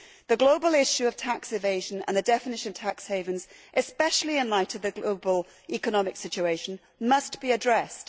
The global issue of tax evasion and the definition of tax havens, especially in light of the global economic situation, must be addressed.